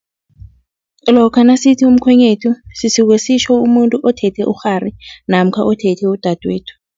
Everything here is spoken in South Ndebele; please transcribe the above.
Lokha nasithi umkhwenyethu, sisuke sitjho umuntu othethe ukghari namkha othethe udadwethu.